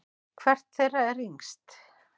Hvert þeirra er yngst?